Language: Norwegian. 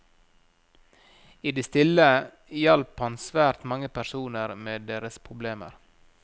I det stille hjalp han svært mange personer med deres problemer.